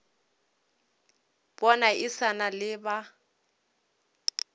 bana e sa le ba